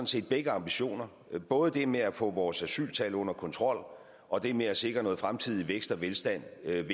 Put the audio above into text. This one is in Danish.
set begge ambitioner både det med at få vores asyltal under kontrol og det med at sikre noget fremtidig vækst og velstand ved